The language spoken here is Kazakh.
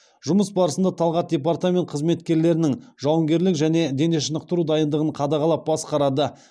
жұмыс барысында талғат департамент қызметкерлерінің жауынгерлік және дене шынықтыру дайындығын қадағалап басқарады